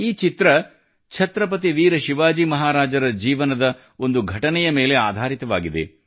ಈ ಚಿತ್ರವು ಛತ್ರಪತಿ ವೀರ ಶಿವಾಜಿ ಮಹಾರಾಜರ ಜೀವನದ ಒಂದು ಘಟನೆಯ ಮೇಲೆ ಆಧಾರಿತವಾಗಿದೆ